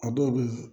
A dɔw bɛ